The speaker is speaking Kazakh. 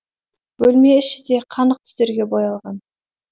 бөлме іші де қанық түстерге боялған